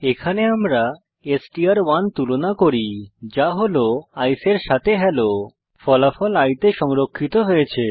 এখানে আমরা এসটিআর1 তুলনা করি যা হল আইসিই এর সাথে হেলো ফলাফল i তে সংরক্ষিত হয়েছে